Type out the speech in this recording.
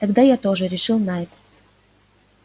тогда я тоже решил найд